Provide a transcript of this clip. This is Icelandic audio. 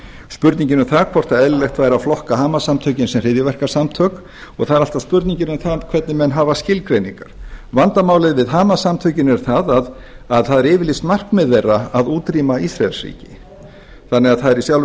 spurningin um það hvort eðlilegt væri að flokka hamas samtökin sem hryðjuverkasamtök og það er alltaf spurningin um það hvernig menn hafa skilgreiningar vandamálið við hamas samtökin er það að það eru yfirlýst markmið þeirra að útrýma ísraelsríki þannig að það er í sjálfu